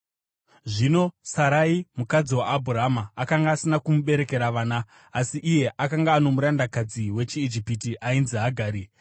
Zvino Sarai, mukadzi waAbhurama, akanga asina kumuberekera vana. Asi iye akanga ano murandakadzi wechiIjipita ainzi Hagari;